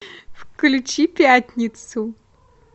включи пятницу